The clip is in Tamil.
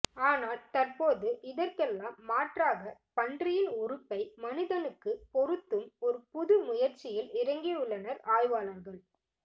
ஆனால் தற்போது இதற்கெல்லாம் மாற்றாக பன்றியின் உறுப்பை மனிதனுக்கு பொருத்தும் ஒரு புது முயற்சியில் இறங்கியுள்ளனர் ஆய்வாளர்கள்